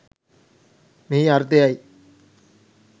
මෙහි අර්ථය යි.